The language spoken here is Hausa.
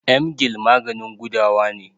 Emgyl maganin gudawa ne.